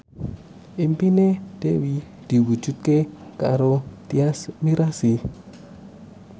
impine Dewi diwujudke karo Tyas Mirasih